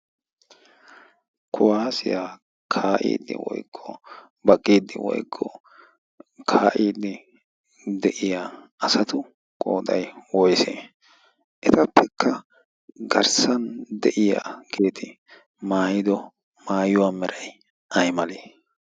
kuwaasiyaa kaa'iddi woykqo baqqiiddi woikko kaa'iiddi de'iya asatu qooxai wois etappekka garssan de'iya geeti maayido maayuwaa meray ay malee?